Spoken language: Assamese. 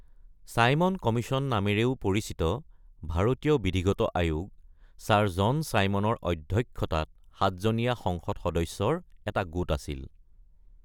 ছাইমন কমিছন নামেৰেও পৰিচিত ভাৰতীয় বিধিগত আয়োগ, ছাৰ জন ছাইমনৰ অধ্যক্ষতাত সাতজনীয়া সংসদ সদস্যৰ এটা গোট আছিল।